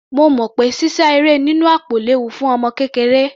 Mo mọ̀ pé sísá eré nínú àpò léwu fún ọmọ kékeré.